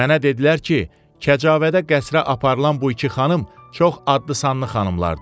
Mənə dedilər ki, kəcavədə qəsrə aparılan bu iki xanım çox adlı sanlı xanımlardır.